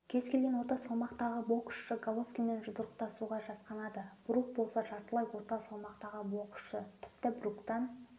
кез келген орта салмақтағы боксшы головкинмен жұдырықтасуға жасқанады брук болса жартылай орта салмақтағы боксшы тіпті бруктан